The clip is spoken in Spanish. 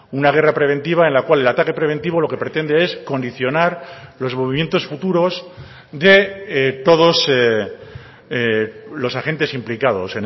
una guerra preventiva en la cual el ataque preventivo lo que pretende es condicionar los movimientos futuros de todos los agentes implicados